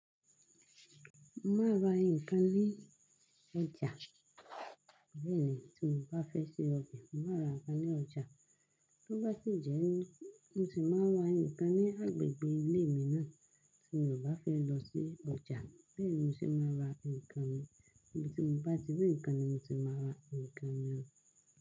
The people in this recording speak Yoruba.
Mo máa ra nǹkan ní ọjà. Bẹ́ẹ̀ ni tí mo bá fẹ́ ṣe ọbẹ̀, mo máa ra àǹkán ní ọjà. Bo bá ti jẹun mo sì máa ra nǹkan ní agbègbè ilé mi náà tí mo bá fẹ́ lọ sí ọjà. Bẹ́ẹ̀ ni mo sì máa ra nǹkan tí mo bá ti rí nǹkan ni mo sì máa ra nǹkan náà.